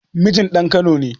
Mijin ɗan kano ne